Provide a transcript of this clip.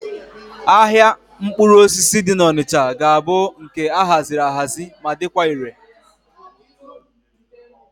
Ahịa mkpụrụ osisi dị n'Onịcha ga-abụ nke a haziri ahazi ma dịkwa ire.